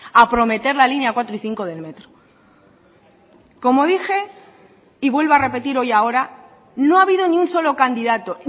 a prometer la línea cuatro y cinco del metro como dije y vuelvo a repetir hoy ahora no ha habido ni un solo candidato